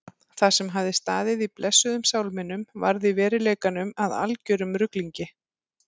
Það sem hafði staðið í blessuðum sálminum varð í veruleikanum að algerum ruglingi.